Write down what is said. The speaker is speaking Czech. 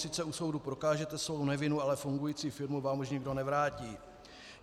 Sice u soudu prokážete svou nevinu, ale fungující firmu vám už nikdo nevrátí.